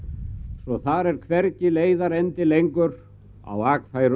svo þar er hvergi leiðarendi lengur á